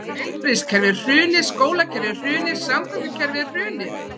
Heilbrigðiskerfið er hrunið, skólakerfið er hrunið, samgöngukerfið er hrunið.